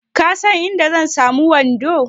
Ka san inda zan samu wando?